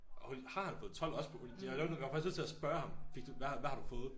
Hold har han fået 12 også på uni det var jeg var faktisk nødt til at spørge ham hvad har du fået?